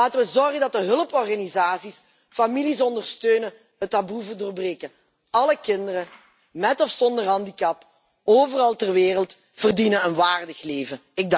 Laten we ervoor zorgen dat de hulporganisaties families ondersteunen het taboe te doorbreken. Alle kinderen, met of zonder handicap, overal ter wereld, verdienen een waardig leven.